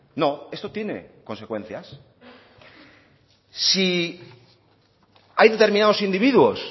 no esto tiene consecuencias si hay determinados individuos